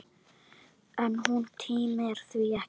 En hún tímir því ekki!